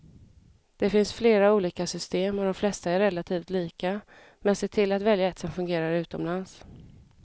Det finns flera olika system och de flesta är relativt lika, men se till att välja ett som fungerar utomlands.